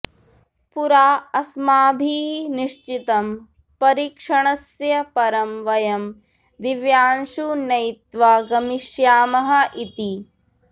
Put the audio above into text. पुरा अस्माभिः निश्चितम् परीक्षणस्य परं वयं दिव्यांशुं नयित्वा गमिष्यामः इति